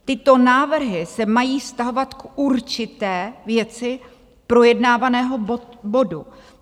Tyto návrhy se mají vztahovat k určité věci projednávaného bodu.